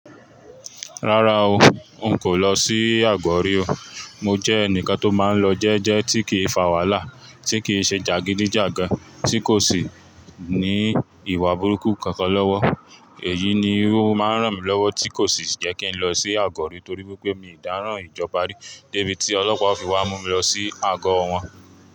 Rárá o, n kò lọ sí Àgọ́ rí o. Mo jẹ́ ẹnìkan tó máa ń lọ jẹ́jẹ́ tí kìí fà wàhálà, tí kìí ṣe jàgídíjàgan, tí kò sì ní ìwà burúkú kankan lọ́wọ́. Èyí ni o máa ń ràn mí lọ́wọ́ tí kò sì jẹ́ kí n lọ sí Àgọ́ rí torí pé mí dàárán ìjọba rí débi tí Ọlọ́pàá o fi wá mú mi lọ sí agọ́ wọn.